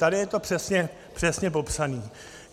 Tady je to přesně popsáno.